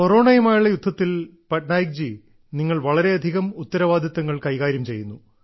കൊറോണയുമായുള്ള യുദ്ധത്തിൽ പട്നായിക് ജി നിങ്ങൾ വളരെയധികം ഉത്തരവാദിത്തങ്ങൾ കൈകാര്യം ചെയ്യുന്നു